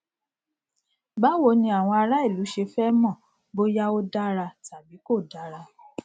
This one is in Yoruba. báwo ni àwọn ará ìlú ṣe fẹ mọ bóyá ó dára tàbí kò dára